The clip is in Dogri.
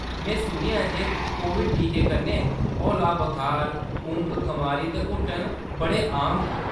मैं सुनेआ ऐ जे कोविड टीकें कन्नै हौला बखार, ऊंघ-खमारी ते हुट्टन बड़े आम न।